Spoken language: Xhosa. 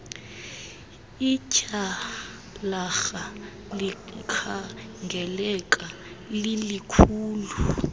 ityhalarha likhangeleka lilikhulu